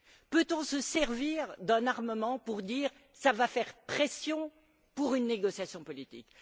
Peut on se servir d'un armement pour dire ça va faire pression pour une négociation politique.